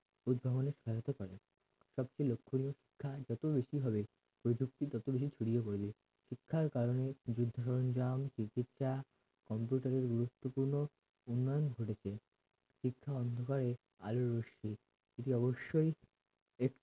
শিক্ষা যত বেশি হবে প্রযুক্তি তত বেশি ছড়িয়ে পড়বে শিক্ষার কারণে চিকিৎসা computer এর গুরুত্বপূর্ণ উন্নয়ন ঘটেছে শিক্ষা অন্ধকারে আলোর রশ্মি এটি অবশ্যই এক